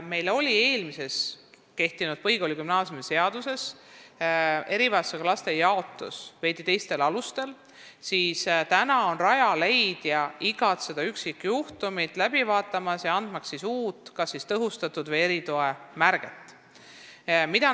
Meil oli varem kehtinud põhikooli- ja gümnaasiumiseaduses erivajadustega laste jaotus veidi teistel alustel, nüüd aga vaatab Rajaleidja iga üksikjuhtumi läbi ja määrab kas tõhustatud või eritoe.